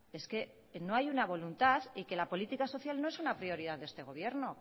es que no hay una voluntad y que la política social no es una prioridad de este gobierno